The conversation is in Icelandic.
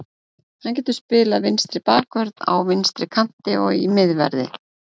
Hann getur spilað vinstri bakvörð, á vinstri kanti og í miðverði.